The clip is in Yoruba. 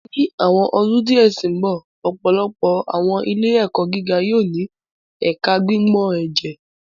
Ni awọn ọdun diẹ ti n bọ, ọpọlọpọ awọn ile-ẹkọ giga yóò ni Ẹka Gbigbọn Ẹjẹ